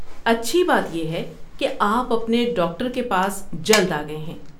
اچھی بات یہ ہے کہ آپ اپنے ڈاکٹر کے پاس جلد آ گئے ہیں۔